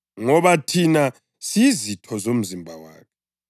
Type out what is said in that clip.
ngoba thina siyizitho zomzimba wakhe.